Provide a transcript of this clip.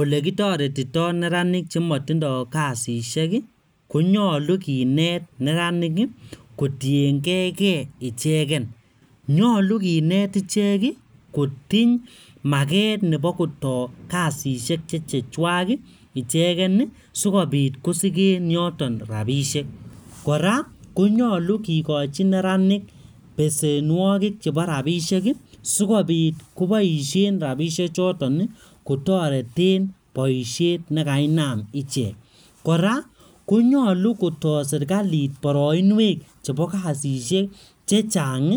Ole kitoretitio neranik che matindoi kasishek, konyolu kinet neranik kotienkekey icheken. Nyolu kinet ichek kotiny maget nebo kotai kasishek che chechwak icheken, sikobit kosigen yoton rabisek. Kora, konyolu kikochi neranik besenwogik chebo rabisiek, sikobit koboisen rabisiek choton kotoreten boisiet ne kainam ichek. Kora, konyolu kotai serikalit boroinwek chebo kasishek chechang',